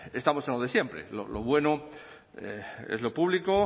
estamos en lo de siempre lo bueno es lo público